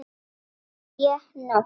Natalía Nótt.